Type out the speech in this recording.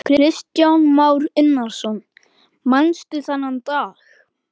Kristján Már Unnarsson: Manstu þennan dag?